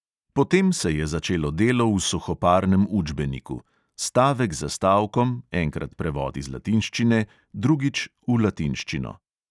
Potem se je začelo delo v suhoparnem učbeniku: stavek za stavkom, enkrat prevod iz latinščine, drugič v latinščino.